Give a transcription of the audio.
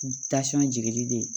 jigili de